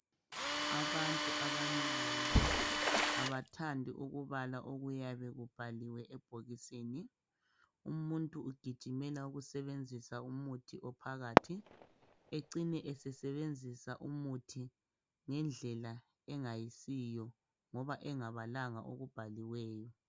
Abantu abanengi abathandi ukubala okuyabe kubhaliwe ebhokisini umuntu ugijimela ukusebenzisa umuthi ophakathi acine esesebenzisa umuthi ngendlela engasiyo ngoba engabalanga okubhaliweyo